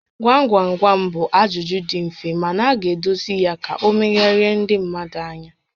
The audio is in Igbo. Gwam gwam gwam bụ ajụjụ dị mfe mana a ga-edozi ya ka ọ megharịa mmadụ ányá